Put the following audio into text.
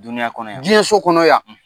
Dunuya kɔnɔ yan; Diɲɛso kɔnɔ yan!